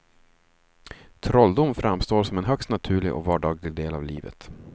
Trolldom framstår som en högst naturlig och vardaglig del av livet.